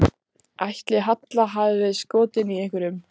Ætli Halla hafi verið skotin í einhverjum?